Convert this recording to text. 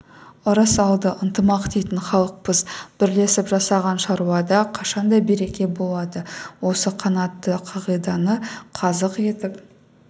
ырыс алды ынтымақ дейтін халықпыз бірлесіп жасаған шаруада қашанда береке болады осы қанатты қағиданы қазық етіп